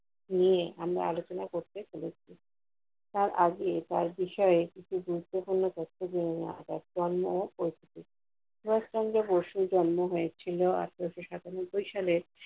নিয়ে আমরা আলোচনা করতে পেরেছি। তার আগে তার বিষয়ে কিছু গুরুত্বপূর্ণ তথ্য যেনে নেয় যাক যার নামে পরিচিতি, সুভাষ চন্দ্র বসু জন্ম হয়েছিল আঠারোশো সাতানব্বই সালের